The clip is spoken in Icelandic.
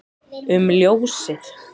um ljósið